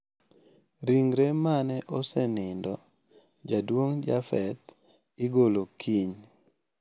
Ringre mane osenindo jaduong` Japheth igolo kiny.